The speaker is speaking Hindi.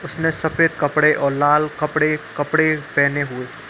उसने सफ़ेद कपड़े और लाल कपड़े कपड़े पहने हुए --